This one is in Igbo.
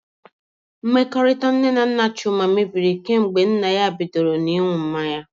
Mmekọrịta nne na nna Chuma mebiri kemgbe nna ya bido ṅụwa mmanya.